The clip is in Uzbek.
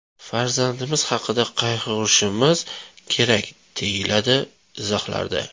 Farzandimiz haqida qayg‘urishimiz kerak”, deyiladi izohlarda.